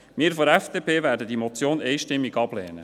Wir von der FDP werden diese Motion einstimmig ablehnen.